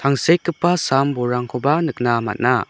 tangsekgipa sam bolrangkoba nikna man·a.